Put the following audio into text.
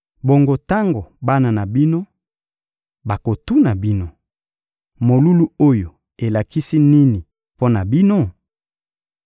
Bongo tango bana na bino bakotuna bino: ‹Molulu oyo elakisi nini mpo na bino?›